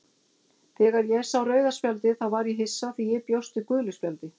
Þegar ég sá rauða spjaldið þá var ég hissa því ég bjóst við gulu spjaldi,